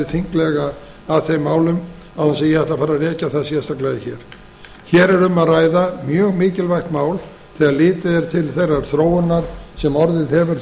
þinglega að þeim málum án þess að ég ætli að fara að rekja það sérstaklega hér hér er um að ræða mjög mikilvægt mál þegar litið er til þeirrar þróunar sem orðið hefur